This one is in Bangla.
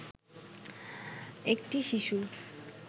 একটি শিশুর